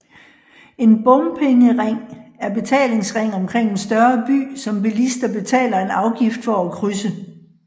En bompengering er betalingsring omkring en større by som bilister betaler en afgift for at krydse